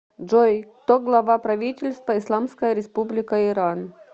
джой кто глава правительства исламская республика иран